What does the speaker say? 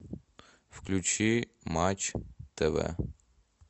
включи матч тв